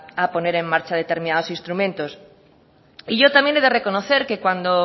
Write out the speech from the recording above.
a poner en marcha determinados instrumentos y yo también he de reconocer que cuando